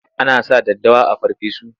Ana sa daddawa a farfesu.